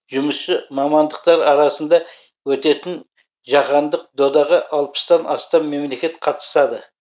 жұмысшы мамандықтар арасында өтетін жаһандық додаға алпыстан астам мемлекет қатысады